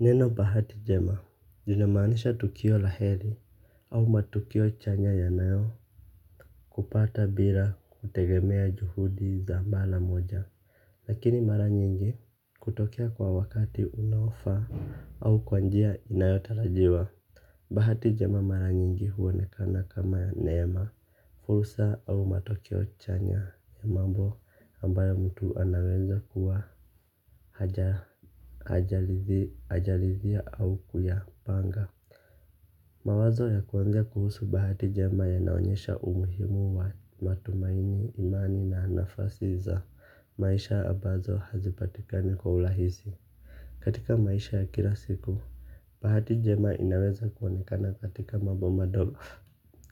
Neno bahati njema linamaanisha tukio la heri. Au matukio chanya yanayo kupata bila kutegemea juhudi za mara moja lakini mara nyingi hutokea kwa wakati unaofaa au kwa njia inayotarajiwa. Bahati njema mara nyingi huonekana kama neema. Fursa au matokeo chanya ya mambo ambayo mtu anaweza kuwa hajarithia au kuyapanga mawazo ya kuongea kuhusu bahati njema yanaonyesha umuhimu wa matumaini, imani na nafasi za maisha ambazo hazipatikani kwa urahisi. Katika maisha ya kila siku bahati njema inaweza kuonekana katika mambo madogo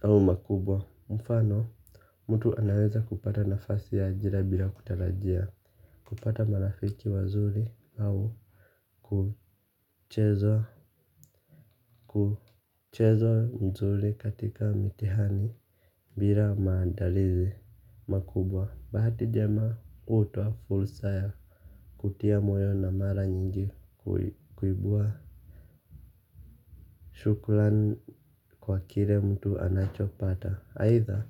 au makubwa. Mfano, mtu anaweza kupata nafasi ya ajira bila kutarajia. Kupata marafiki wazuri au kucheza nzuri katika mitihani bila maandalizi makubwa. Bahati njema hutoa fursa ya kutia moyo na mara nyingi kuibua shukran kwa kile mtu anachopata aidha,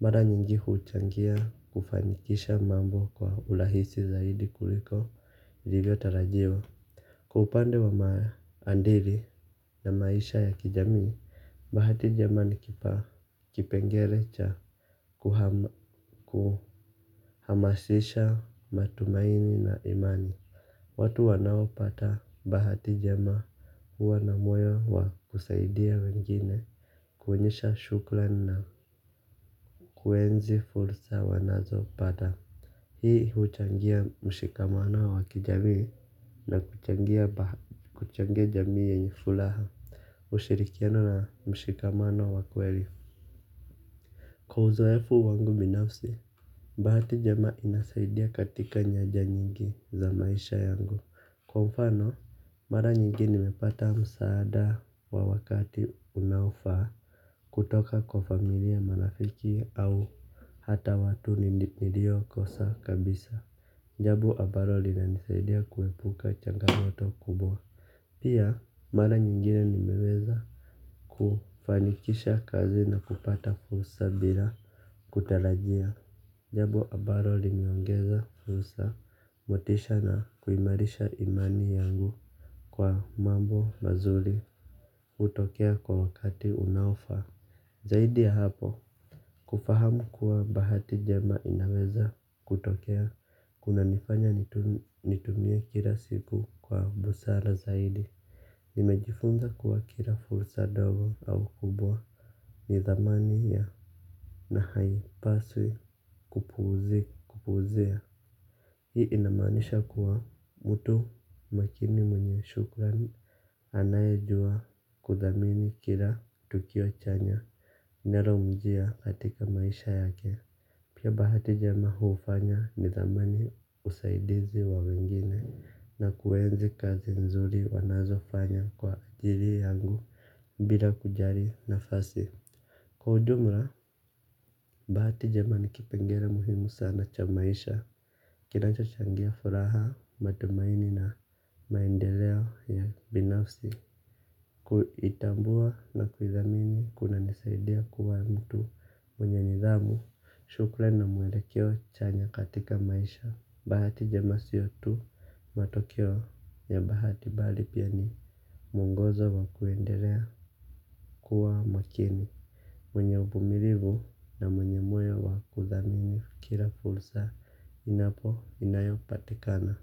mara nyingi huchangia kufanikisha mambo kwa urahisi zaidi kuliko ilivyotarajiwa. Kwa upande wa maadili na maisha ya kijamii bahati njema nikipa kipengele cha kuhamasisha matumaini na imani. Watu wanaopata bahati njema huwa na moyo wa kusaidia wengine. Kuonyesha shukran na kuenzi fursa wanazopata. Hii huchangia mshikamano wa kijamii na kuchangia jamii yenye furaha. Ushirikiano na mshikamano wa kweli. Kwa uzoefu wangu binafsi. Bahati njema inasaidia katika nyanja nyingi za maisha yangu. Kwa mfano, mara nyingi nimepata msaada wa wakati unaofaa. Kutoka kwa familia marafiki au hata watu niliokosa kabisa. Jambo ambalo linanisaidia kuepuka changamoto kubwa. Pia mara nyingine nimeweza kufanikisha kazi na kupata fursa bila kutarajia. Jambo ambalo limeongeza fursa motisha na kuimarisha imani yangu kwa mambo mazuri hutokea kwa wakati unaofaa. Zaidi ya hapo, kufahamu kuwa bahati njema inaweza kutokea, kunanifanya nitumie kila siku kwa busara zaidi, nimejifunza kuwa kila fursa ndogo au kubwa, ni thamani ya na haipaswi kupuuzi kupuuzia. Hii inamanisha kuwa mtu makini mwenye shukran anayejua kuthamini kila tukio chanya linalomjia katika maisha yake. Pia bahati njema hufanya nithamani usaidizi wa wengine na kuenzi kazi nzuri wanazofanya kwa ajili yangu bila kujali nafasi. Kwa ujumla, bahati njema ni kipengele muhimu sana cha maisha, kinachochangia furaha, matumaini na maendeleo ya binafsi, kuitambua na kuithamini kunanisaidia kuwa mtu mwenye nidhamu, shukrani na mwelekeo chanya katika maisha. Bahati njema sio tu matokeo ya bahati bali pia ni mwongozo wa kuendelea kuwa makini. Mwenye uvumilivu na mwenye moyo wa kuthamini kila fursa inapo inayopatikana.